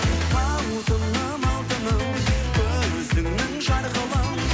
алтыным алтыным көзіңнің жарқылын